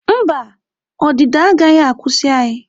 Mba, ọdịda agaghị akwụsị anyị.